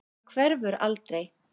Hann hverfur aldrei.